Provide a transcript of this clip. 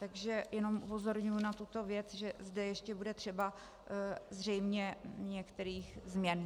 Takže jenom upozorňuji na tuto věc, že zde ještě bude třeba zřejmě některých změn.